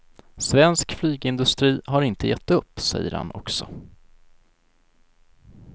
Svensk flygindustri har inte gett upp, säger han också.